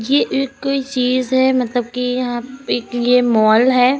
ये कोई चीज है मतलब कि यहाँ पे एक यह माल है।